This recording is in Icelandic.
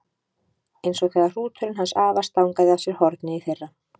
Eins og þegar hrúturinn hans afa stangaði af sér hornið í fyrra.